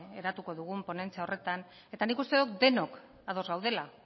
eratuko dugun ponentzia horretan eta nik uste dut denok ados gaudela